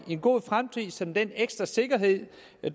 god fremtid som den ekstra sikkerhed